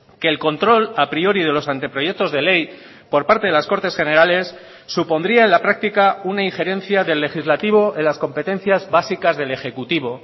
que el control a priori de los anteproyectos de ley por parte de las cortes generales supondría en la práctica una injerencia del legislativo en las competencias básicas del ejecutivo